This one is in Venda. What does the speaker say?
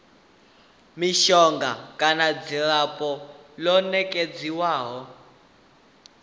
mishonga kana dzilafho ḽo nekedzwaho